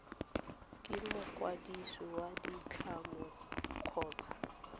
ke mokwadisi wa ditlamo kgotsa